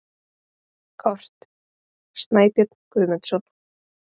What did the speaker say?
Kort: Snæbjörn Guðmundsson.